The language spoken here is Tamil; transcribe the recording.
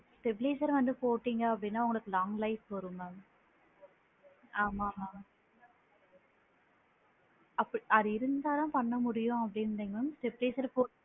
Stabiliser வந்து போட்டிங்க அப்படின்னா, உங்களுக்கு longlife வரும் mam ஆமா mam அப்ப அது இருந்தா தான் பண்ண முடியும் அப்படின்னு இல்லைங் mam stabiliser போ